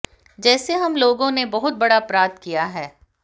जेसे हम लोगों ने बहुत बडा अपराध किया है